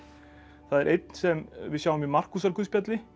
það er einn sem við sjáum í Markúsarguðspjalli